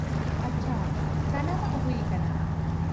-ᱟᱪᱪᱷᱟ ᱾ ᱥᱟᱱᱟᱢᱟᱜ ᱦᱩᱭ ᱟᱠᱟᱱᱟ ᱾